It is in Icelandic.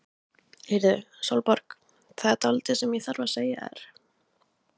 Heyrðu Sólborg. það er dálítið sem ég þarf að segja þér.